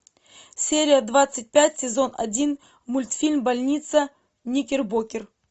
серия двадцать пять сезон один мультфильм больница никербокер